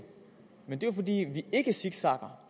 men det er jo fordi vi ikke zigzagger